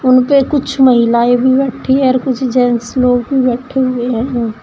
उन पे कुछ महिलाएं भी बैठी हैं और कुछ जेंट्स लोग भी बैठे हुए हैं। --